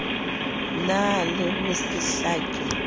na le ho se hlake